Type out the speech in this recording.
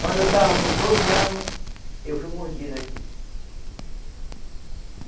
Quando eu estava com doze anos, eu fui mordido aqui.